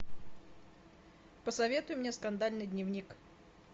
посоветуй мне скандальный дневник